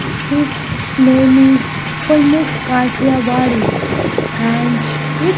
it its name is pramukh kathiyawadi and it --